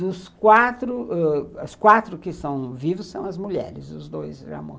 Dos quatro ãh, os quatro que são vivos são as mulheres, os dois já morreram.